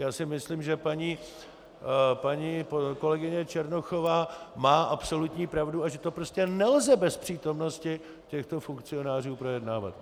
Já si myslím, že paní kolegyně Černochová má absolutní pravdu a že to prostě nelze bez přítomnosti těchto funkcionářů projednávat.